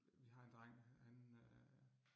Vi har en dreng, han øh